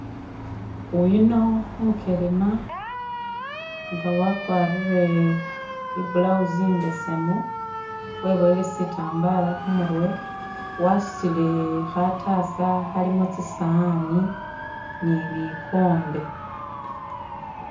Uyuno umukelema nga wakwarire i blouse imbesemu, webowele sitambala khumurwe wasutile khatasa khalimo tsi sawani ni bikombe